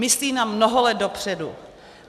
Myslí na mnoho let dopředu.